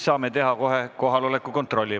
Saame teha kohe kohaloleku kontrolli.